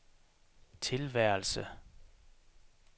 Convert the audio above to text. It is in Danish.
tilværelse